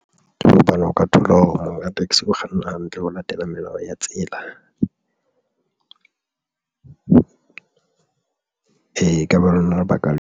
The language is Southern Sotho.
Tjhe, hobane o ka thola hore monga taxi o kganna hantle ho latela melao ya tsela e ke lona lebaka leo.